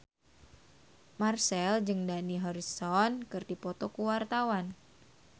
Marchell jeung Dani Harrison keur dipoto ku wartawan